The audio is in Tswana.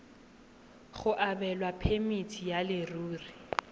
go abelwa phemiti ya leruri